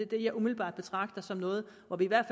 det jeg umiddelbart betragter som noget hvor vi i hvert